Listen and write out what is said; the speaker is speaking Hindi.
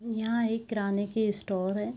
यहाँ एक किराने की स्टोर हैं।